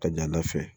Ka ɲa ala fɛ